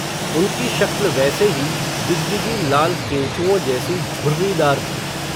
उनकी शक्ल वैसे ही, गिजगिजी लाल केंचुओं जैसी, झुर्रीदार थी